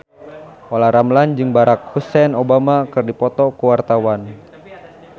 Olla Ramlan jeung Barack Hussein Obama keur dipoto ku wartawan